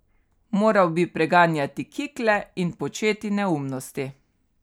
Moral bi preganjati kikle in početi neumnosti.